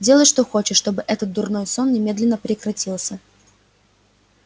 делай что хочешь но чтобы этот дурной сон немедленно прекратился